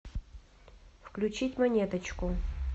включить монеточку